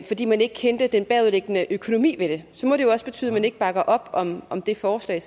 fordi man ikke kendte den bagvedliggende økonomi ved det så må det jo også betyde at man ikke bakker op om om det forslag